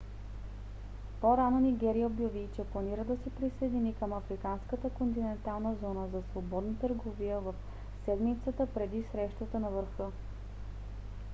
по-рано нигерия обяви че планира да се присъедини към африканската континентална зона за свободна търговия в седмицата преди срещата на върха